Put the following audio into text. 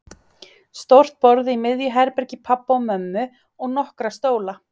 Stórt borð í miðju herbergi pabba og mömmu og nokkra stóla.